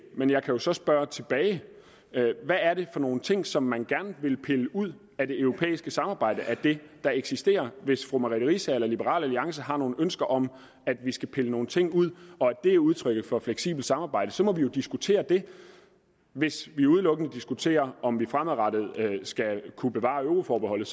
men jeg kan jo så spørge tilbage hvad er det for nogle ting som man gerne vil pille ud af det europæiske samarbejde af det der eksisterer hvis fru merete riisager eller liberal alliance har nogle ønsker om at vi skal pille nogle ting ud og at det er udtryk for et fleksibelt samarbejde så må vi jo diskutere det hvis vi udelukkende diskuterer om vi fremadrettet skal kunne bevare euroforbeholdet